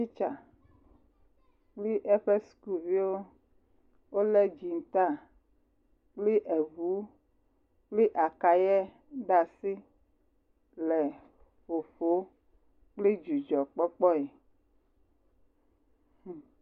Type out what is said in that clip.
Titsa kpli eƒe sukuviwo, wolé dziŋtaa, kpli eŋu, kpli akayɛ ɖa asi le ƒoƒoo kpli dzidzɔkpɔkpɔɛ, hum.